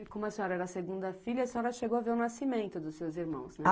E como a senhora era a segunda filha, a senhora chegou a ver o nascimento dos seus irmãos, né?